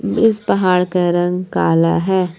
इस पहाड़ का रंग काला है।